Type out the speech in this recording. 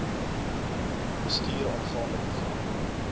bestuur aangaande program